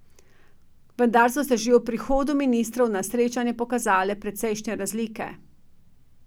Vendar so se že ob prihodu ministrov na srečanje pokazale precejšnje razlike.